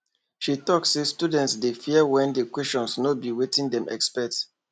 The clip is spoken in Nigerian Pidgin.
she talk say students dey fear when the questions no be wetin dem expect